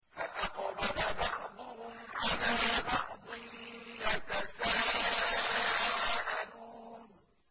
فَأَقْبَلَ بَعْضُهُمْ عَلَىٰ بَعْضٍ يَتَسَاءَلُونَ